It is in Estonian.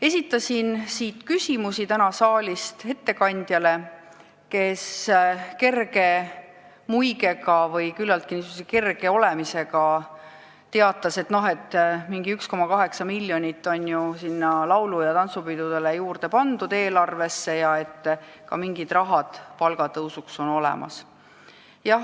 Esitasin täna küsimusi ettekandjale, kes väikse muigega või küllaltki kerges toonis teatas, et mingi 1,8 miljonit on ju laulu- ja tantsupidudele juurde pandud eelarves ja ka mingid rahad palgatõusuks on olemas.